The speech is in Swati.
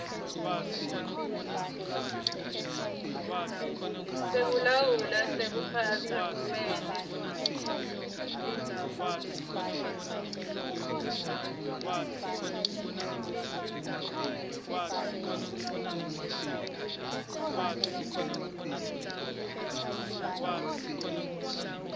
sekulawula sekuphatsa kumele